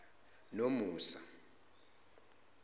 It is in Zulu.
nomusa